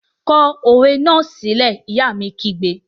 Kọ òwe náà sílẹ́! Ìyá mi kígbe!